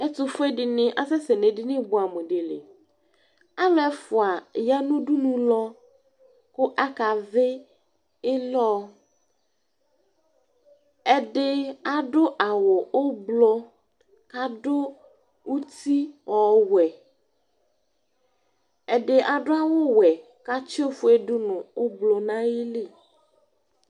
Ɛtʋfue dini asɛsɛ nʋ edini bʋɛamʋ di li Alu ɛfua aya nʋ udunulɔ, kʋ akavɩ ɩlɔ Ɛdɩ adu awu ʋblʋ kʋ adu uti ɔwɛ Ɛdi adu awuwɛ kʋ atsɩ ofuedu nʋ ʋblʋ nʋ ayili